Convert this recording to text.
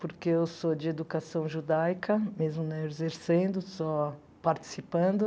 porque eu sou de educação judaica, mesmo não exercendo, só participando.